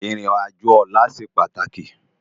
Irin ájó òlà sé pátáki